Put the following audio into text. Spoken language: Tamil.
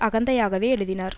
அகந்தையாகவே எழுதினார்